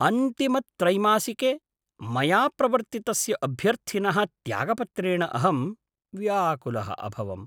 अन्तिमत्रैमासिके, मया प्रवर्त्तितस्य अभ्यर्थिनः त्यागपत्रेण अहं व्याकुलः अभवम्।